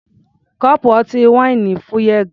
Kọ́ọ̀pù ọtí wáìnì fúyẹ́ gan-an.